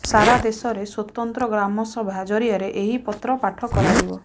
ସାରା ଦେଶରେ ସ୍ୱତନ୍ତ୍ର ଗ୍ରାମସଭା ଜରିଆରେ ଏହି ପତ୍ର ପାଠ କରାଯିବ